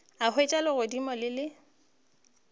a hwetša legodimo le le